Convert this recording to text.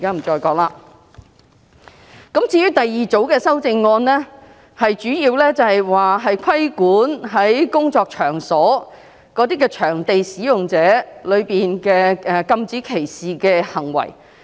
至於第二組修正案，則主要規管工作場所的場所使用者，禁止他們作出歧視行為。